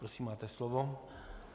Prosím, máte slovo.